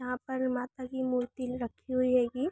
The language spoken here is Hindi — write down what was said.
यहाँ पर माता की मूर्ति रखी हुई है ये।